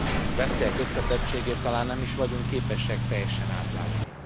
A veszélyek összetettségét talán nem is vagyunk képesek teljesen átlátni.